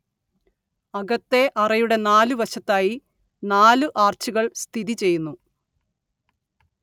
അകത്തേ അറയുടെ നാലു വശത്തായി നാലു ആർച്ചുകൾ സ്ഥിതി ചെയ്യുന്നു